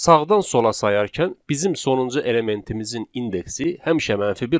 Sağdan sola sayarkən bizim sonuncu elementimizin indeksi həmişə mənfi bir olacaq.